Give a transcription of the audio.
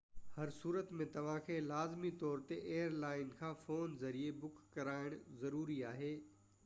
هر صورت ۾ توهان کي لازمي طور تي ايئرلائن کان فون ذريعي بُڪ ڪرائڻ ضروري آهي